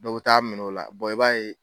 Dɔw bɛ taa minɛ o la i b'a ye